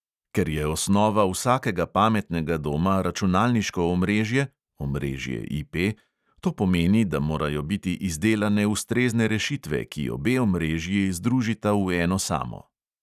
Ker je osnova vsakega pametnega doma računalniško omrežje (omrežje IP) to pomeni, da morajo biti izdelane ustrezne rešitve, ki obe omrežji združita v eno samo.